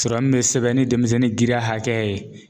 Sɔrɔ min bɛ sɛbɛn ni denmisɛnnin giriya hakɛya ye.